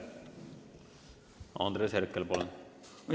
Andres Herkel, palun!